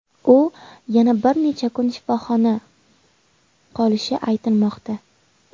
U yana bir necha kun shifoxona qolishi aytilmoqda.